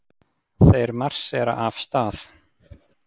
Þeir marsera af stað.